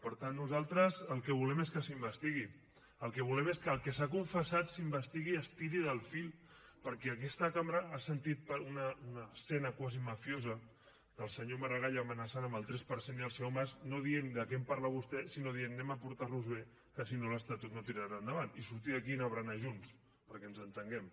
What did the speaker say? per tant nosaltres el que volem és que s’investigui el que volem és que el que s’ha confessat s’investigui i s’estiri del fil perquè aquesta cambra ha sentit una escena quasi mafiosa del senyor maragall amenaçant amb el tres per cent i el senyor mas no dient de què em parla vostè sinó dient anem a portar nos bé que si no l’estatut no tirarà endavant i sortir d’aquí i anar a berenar junts perquè ens entenguem